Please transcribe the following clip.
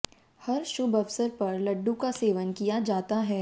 हर शुभ अवसर पर लड्डू का सेवन किया जाता है